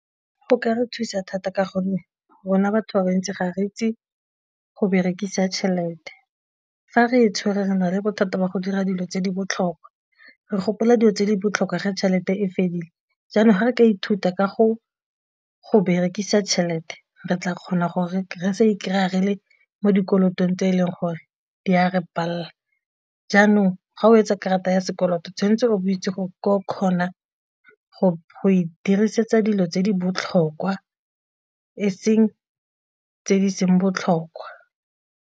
Go ka re thusa thata ka gonne rona batho ba bantsi ga re itse go berekisa tšhelete, fa re tshwere re na le bothata ba go dira dilo tse di botlhokwa re gopola dilo tse di botlhokwa ge tšhelete e fedile, jaanong ga re ka ithuta ka go go berekisa tšhelete re tla kgona gore re sa i-kry-a re le mo dikolotong tse e leng gore di a re palela, jaanong ga o etsa karata ya sekoloto o tshwanetse o itse gore o kgona go dirisetsa dilo tse di botlhokwa e seng tse di seng botlhokwa.